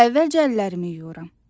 Əvvəlcə əllərimi yuyuram.